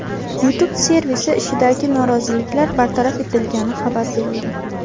YouTube servisi ishidagi nosozliklar bartaraf etilgani xabar berildi.